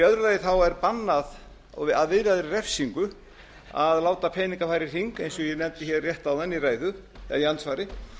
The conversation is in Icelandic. sig í öðru lagi er bannað að viðlagri refsingu að láta peninga fara í hring eins og ég nefndi hér rétt áðan í andsvari